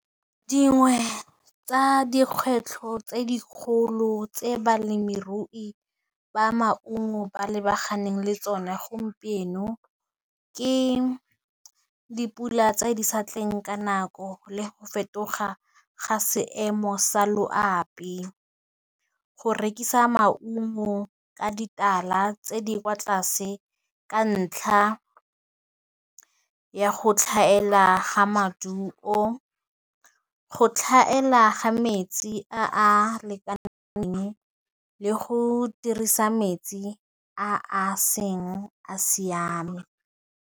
Dingwe tsa dikgwetlho tse dikgolo tse balemirui ba maungo ba lebaganeng le tsone gompieno, ke dipula tse di sa tleng ka nako le go fetoga ga seemo sa loapi, go rekisa maungo ka ditala tse di kwa tlase ka ntlha ya go tlhaela ga maduo, go tlhaela ga metsi a a lekaneng le go dirisa metsi a seng a siame.